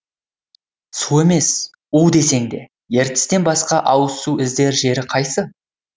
су емес у десең де ертістен басқа ауызсу іздер жері қайсы